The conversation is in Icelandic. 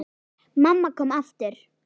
Mamma kom aftur.